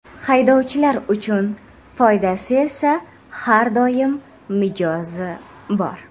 Haydovchilar uchun foydasi esa har doim mijozi bor.